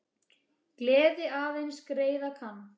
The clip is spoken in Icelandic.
Gleði aðeins greiða kann.